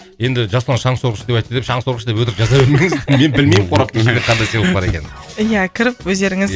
енді жасұлан шаңсорғыш деп айтты деп шаңсорғыш деп өтірік жаза бермеңіздер мен білмеймін қораптың ішінде қандай сыйлық бар екенін иә кіріп өздеріңіз